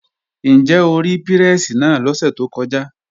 Ǹjẹ́ o rí pírẹ́sì náà lọ́sẹ̀ tó kọjá?